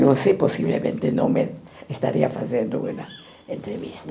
Você possivelmente não me estaria fazendo uma entrevista.